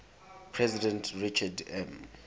president richard m